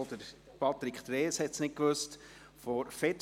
Auch Patrick Trees weiss es nicht.